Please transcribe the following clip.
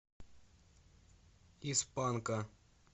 из панка